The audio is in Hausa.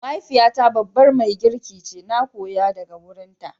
Mahaifiyata babbar magirki ce, na koya daga wurinta.